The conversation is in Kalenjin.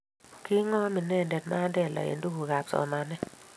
ki ng'om inendet Mandela eng' tugukab somanet